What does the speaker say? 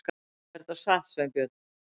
Er þetta satt, Sveinbjörn?